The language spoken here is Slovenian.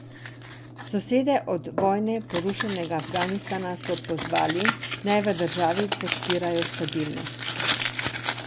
Sosede od vojne porušenega Afganistana so pozvali, da naj v državi podpirajo stabilnost.